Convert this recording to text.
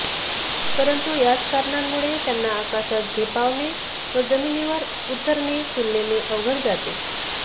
परंतु याच कारणांमुळे त्यांना आकाशात झेपावणे व जमिनीवर उतरणे तुलनेने अवघड जाते